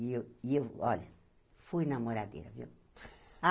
E eu e eu, olha, fui namoradeira, viu?